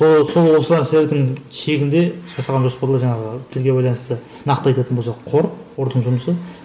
шегінде жасалған жоспарлар жаңағы тілге байланысты нақты айтатын болсақ қор қордың жұмысы